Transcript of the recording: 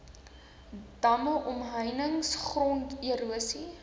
damme omheinings gronderosie